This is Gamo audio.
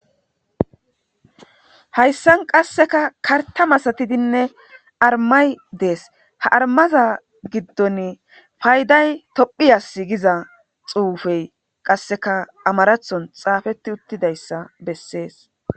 hayssan qassekka kartta masatidinne arimay dees ha arimaza giddoni payday tophphiyas giza xuufey qassekka amaraththon xaafetti uttidayssa bessees